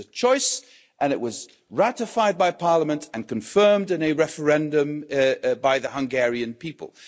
It was a choice and it was ratified by Parliament and confirmed in a referendum by the Hungarian people.